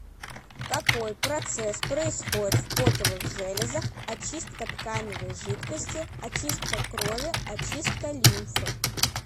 какой процесс происходит в потовых железах очистка тканевой жидкости очистка крови очистка лимфы